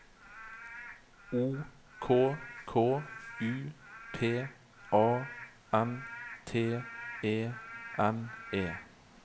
O K K U P A N T E N E